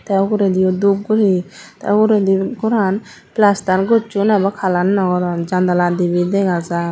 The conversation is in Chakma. tey ugurediyo dup guri tey ugurendi goran plaster gosson ebo kalar naw goron jandala dibey dega jar.